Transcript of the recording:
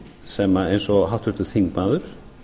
sem eins og háttvirtur þingmaður